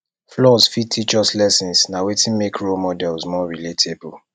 flaws fit teach us lessons na wetin make role models more relatable